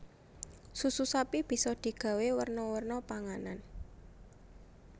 Susu sapi bisa digawé werna werna panganan